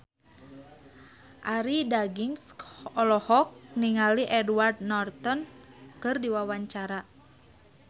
Arie Daginks olohok ningali Edward Norton keur diwawancara